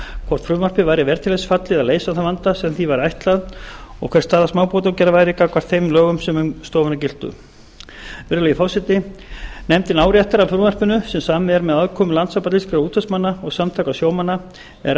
hvort frumvarpið væri vel til þess fallið að leysa þann vanda sem því væri ætlað og hver staða smábátaútgerðar væri gagnvart þeim lögum sem um stofuna giltu virðulegi forseti nefndin áréttar að frumvarpinu sem samið er með aðkomu landssambands íslenskra útvegsmanna og samtaka sjómanna er